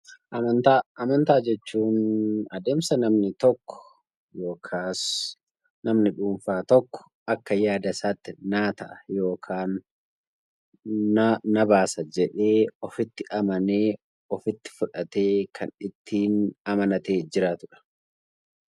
Amantaa jechuun adeemsa namni tokko akak yaada dhuunfaa isaatti naaf ta'a yookaan na baasa jedhee ofitti amanee ofitti fudhatee kan ittiin amanatee jiraatudha.